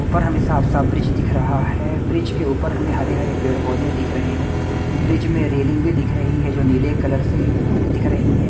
ऊपर हमें साफ-साफ ब्रिज दिख रहा है ब्रिज के ऊपर हमें हरे-हरे पेड़-पौधे दिख रहे हैं ब्रिज में रेलिंग भी दिख रही है जो नीले कलर से दिख रही है।